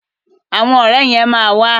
Àwọn ọ̀rẹ́ yẹn ma wà.